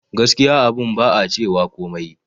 Gaskiya abun ba a cewa komai